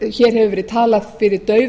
hér hefur verið talað fyrir